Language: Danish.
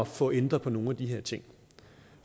få ændret på nogle af de her ting